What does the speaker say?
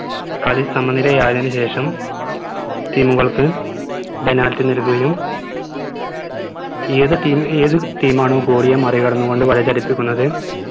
കളി സമനിലയായതിനു ശേഷം team കൾക്ക് penalty നൽകുകയും ഏത് team ഏത് team മാണൊ goalie യെ മറികടന്നുകൊണ്ട് വലയടിപ്പിക്കുന്നത്